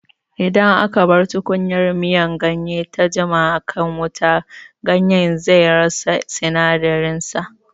Idan aka bar tukunyar miyan ganye ta jima a kan wuta, ganye zai rasa sinadaran sa